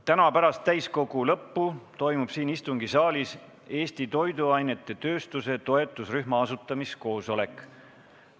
Täna pärast täiskogu istungi lõppu toimub siin istungisaalis Eesti toiduainetööstuse toetusrühma asutamiskoosolek.